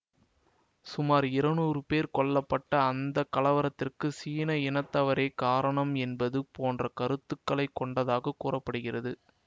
சுமார் இருநூறு பேர் கொல்ல பட்ட அந்த கலவரத்திற்கு சீன இனத்தவரே காரணம் என்பது போன்ற கருத்துக்களை கொண்டதாக கூற படுகிறது